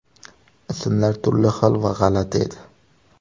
Ismlar turli xil va g‘alati edi.